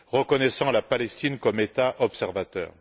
reconnaissant la Palestine comme État observateur.